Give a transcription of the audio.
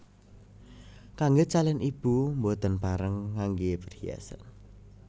Kanggè calon ibu boten pareng nganggè perhiasan